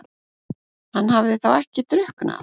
Hann hafði þá ekki drukknað?